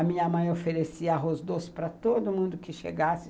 A minha mãe oferecia arroz doce para todo mundo que chegasse.